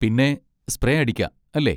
പിന്നെ സ്പ്രേ അടിക്കാ, അല്ലേ?